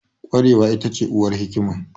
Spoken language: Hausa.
Ƙwarewa ita ce uwar hikima